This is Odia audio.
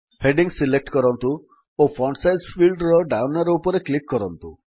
ହେଡିଙ୍ଗ୍ସ ସିଲେକ୍ଟ କରନ୍ତୁ ଓ ଫଣ୍ଟ୍ ସାଇଜ୍ ଫିଲ୍ଡର ଡାଉନ୍ ଆରୋ ଉପରେ କ୍ଲିକ୍ କରନ୍ତୁ